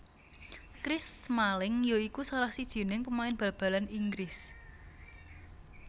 Chris Smalling ya iku salah sijining pemain bal balan Inggris